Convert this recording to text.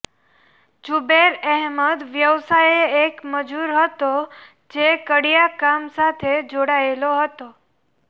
ઝુબેર અહેમદ વ્યવસાયે એક મજૂર હતો જે કડિયાકામ સાથે જોડાયેલો હતો